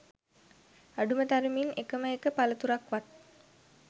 අඩුම තරමින් එකම එක පළතුරක්වත්